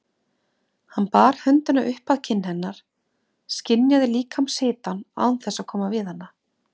Hann bar höndina upp að kinn hennar, skynjaði líkamshitann án þess að koma við hana.